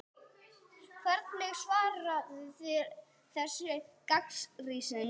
Hvernig svarið þið þessari gagnrýni?